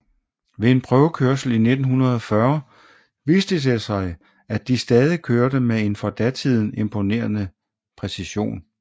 Ved en prøvekørsel i 1940 viste det sig at de stadig kørte med en for datiden imponerende præcision